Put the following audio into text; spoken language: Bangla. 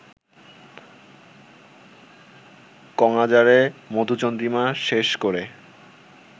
কঙ্বাজারে মধুচন্দ্রিমা শেষ করে